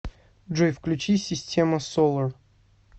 джой включи система солар